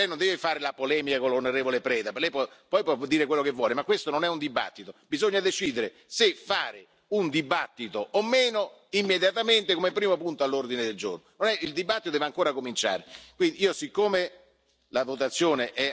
Io ho fatto parlare, Lei era la terza persona del gruppo favorevole, mi pare che Lei non deve fare la polemica con l'on. Preda, Lei può dire quello che vuole, ma questo non è un dibattito, bisogna decidere se fare un dibattito o meno, immediatamente come primo punto all'ordine del giorno.